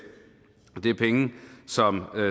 det er penge som